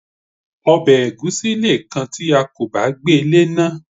Obè ègúsí leè kan ti a kò bá gbée léná